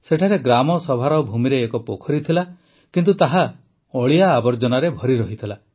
ସେଠାରେ ଗ୍ରାମସଭାର ଭୂମିରେ ଏକ ପୋଖରୀ ଥିଲା କିନ୍ତୁ ତାହା ଅଳିଆ ଆବର୍ଜନାରେ ଭରି ରହିଥିଲା